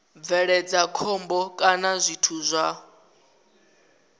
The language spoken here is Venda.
bveledza khombo kana zwithu zwa